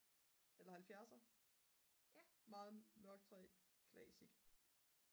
eller 70'er meget mørk træ classic